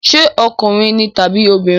Ṣé ọkùnrin ni tàbí obìnrin?